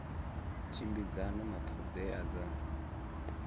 tshimbidzana na ṱho ḓea dza